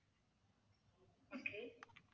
okay